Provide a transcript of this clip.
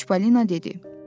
Çipalina dedi.